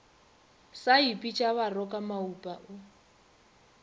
sa ipitša baroka maupa o